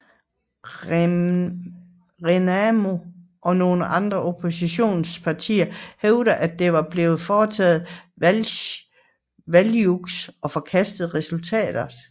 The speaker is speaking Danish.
RENAMO og nogle andre oppositionspartier hævdede at der var blevet foretaget valgjuks og forkastede resultatet